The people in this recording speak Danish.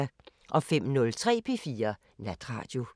05:03: P4 Natradio